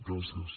gràcies